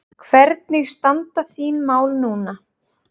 Hvernig standa þín mál núna?